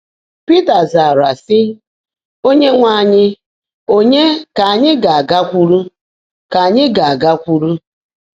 Pị́tà zààrá, sị́: “Óńyéńwe ányị́, ọ̀nyeé kà ányị́ gá-ágákwụ́rụ́? kà ányị́ gá-ágákwụ́rụ́?